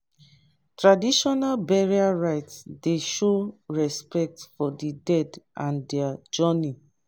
traditional burial rite dey show respect for di dead and their journey.